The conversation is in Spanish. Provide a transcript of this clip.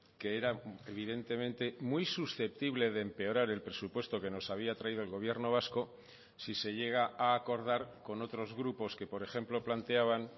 que era evidentemente muy susceptible de empeorar el presupuesto que nos había traído el gobierno vasco si se llega a acordar con otros grupos que por ejemplo planteaban